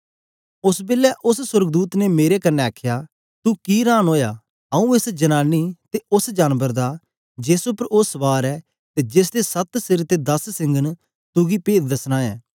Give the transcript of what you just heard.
ओस बेलै उस्स सोर्गदूत ने मेरे कन्ने आखया तू कि हरान ओया आऊँ एस जनानी ते उस्स जानबर दा जेस उपर ओ सवार ऐ ते जेसदे सत्त सिर ते दस सिंग न तुगी पेद दसना ऐ